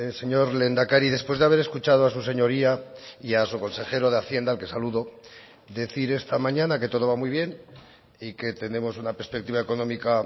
señor lehendakari después de haber escuchado a su señoría y a su consejero de hacienda al que saludo decir esta mañana que todo va muy bien y que tenemos una perspectiva económica